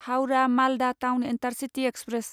Howrah Malda town intercity express